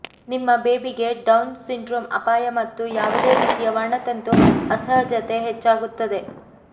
ನಿಮ್ಮ ಬೇಬಿ ಗೆ Down syndrome ಅಪಾಯ ಮತ್ತು ಯಾವುದೇ ರೀತಿಯ ವರ್ಣತಂತು ಅಸಹಜತೆ ಹೆಚ್ಚಾಗುತ್ತದೆ